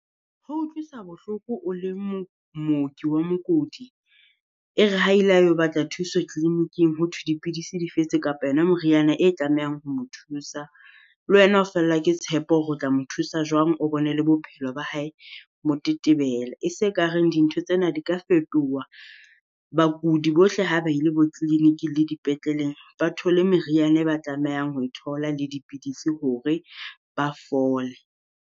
Ho utlwisa bohloko o le mooki wa mookodi, e re ha ile a yo batla thuso clinic-ing Hothwe dipidisi di fetse kapa yona moriana e tlamehang ho mo thusa. Le wena o fellwa ke tshepo hore o tla mo thusa jwang o bone le bophelo ba hae motetebela. E se ka reng dintho tsena di ka fetoha. Bakudi bohle ha ba ile bo clinic le di petleleng ba thole meriana e ba tlamehang ho e thola le dipidisi hore ba fole.